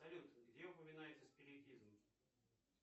салют где упоминается спиритизм